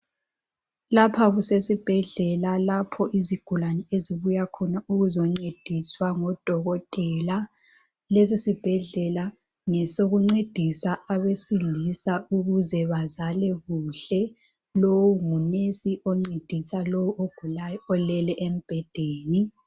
Lapha kusesibhedlela lapho izigulani ezibuya khona ukuzoncediswa ngodokotela, lesi sibhedlela ngesokuncedisa abesilisa ukuze bazale kuhle. Lowu ngunesi oncedisa lowu ogulayo olele embhedeni.